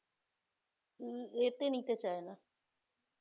উম এ নিতে চায় না